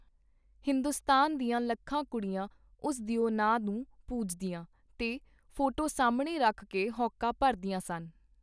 ਹਿੰਦੁਸਤਾਨ ਦੀਆਂ ਲੱਖਾਂ ਕੁੜੀਆਂ ਉਸ ਦਿਓ ਨਾਂ ਨੂੰ ਪੂਜਦੀਆਂ, ਤੇ ਫੋਟੋ ਸਾਹਮਣੇ ਰਖ ਕੇ ਹਉਕਾ ਭਰਦੀਆਂ ਸਨ.